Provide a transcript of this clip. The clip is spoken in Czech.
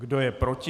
Kdo je proti?